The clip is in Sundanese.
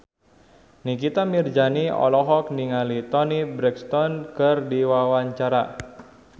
Nikita Mirzani olohok ningali Toni Brexton keur diwawancara